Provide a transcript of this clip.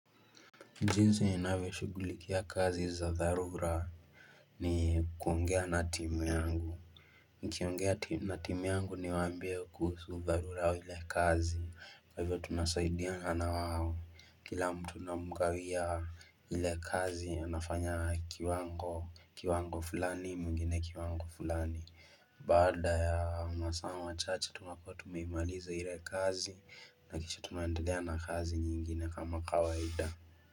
Jinsi ninavyoshughulikia kazi za dharura ni kuongea na timu yangu. Nikiongea na timu yangu niwaambie kuhusu dharura wa ile kazi. Kwa hivyo tunasaidiana na wao, kila mtu namgawia ile kazi anafanya kiwango fulani, mwingine kiwango fulani. Baada ya masaa machache tunakuwa tumeimaliza ile kazi na kisha tunaendelea na kazi nyingine kama kawaida.